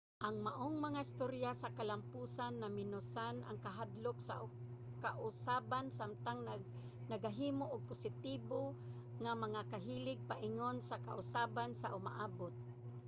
ang maong mga istorya sa kalamposan namenosan ang kahadlok sa kausaban samtang nagahimo og positibo nga mga kahilig paingon sa kausaban sa umaabot